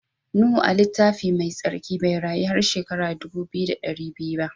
Nuhu a'littafin mai sarki bai rayu har shekara dubu biyu da dari biyu ba.